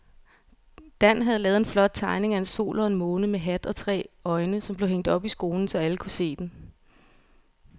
Dan havde lavet en flot tegning af en sol og en måne med hat og tre øjne, som blev hængt op i skolen, så alle kunne se den.